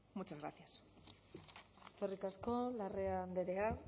muchas gracias eskerrik asko larrea andrea